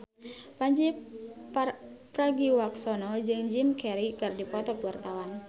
Pandji Pragiwaksono jeung Jim Carey keur dipoto ku wartawan